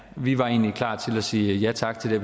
vi var egentlig klar til at sige ja tak til